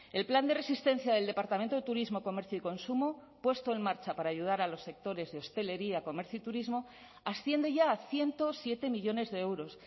el plan de resistencia del departamento de turismo comercio y consumo puesto en marcha para ayudar a los sectores de hostelería comercio y turismo asciende ya a ciento siete millónes de euros